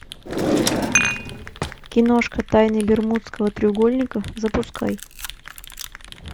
киношка тайны бермудского треугольника запускай